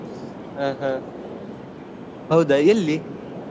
ಹಾ ಹಾ ಹೌದಾ ಎಲ್ಲಿ?